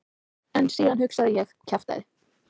En síðan hugsaði ég: kjaftæði.